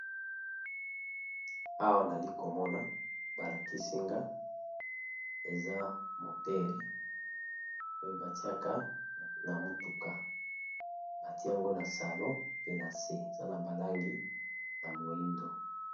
Awa nali komona balakisinga eza moteur oyo batiaka na motuka batie yango na salon pe na se eza na ba langi ya moindo.